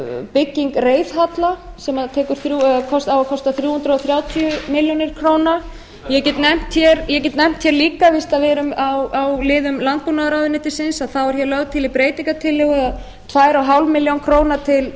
byggingu reiðhalla sem á að kosta þrjú hundruð þrjátíu milljónir króna ég get nefnt hér líka fyrst við erum á liðum landbúnaðarráðuneytisins að þá eru hér lagðar til í breytingartillögu tvö og hálfa milljón króna til